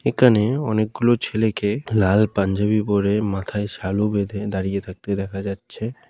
এখানে অনেকগুলো ছেলেকে লাল পাঞ্জাবি পরে মাথায় সালু বেঁধে দাঁড়িয়ে থাকতে দেখা যাচ্ছে ।